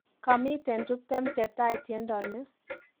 Kamiten tuptem chetai tiendo ni